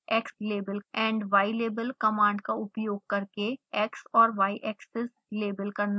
xlabel and ylabel commands का उपयोग करके x और y axes लेबल करना